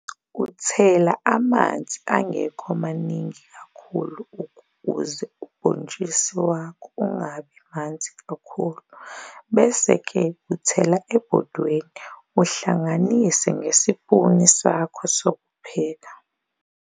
Uthela namanzi angekho maningi kakhulu ukuze ubhotshisi wakho ungabi Manzi kakhulu bese ke uthela ebhodweni uhlanganise ngesipuni Sakho sokupheka.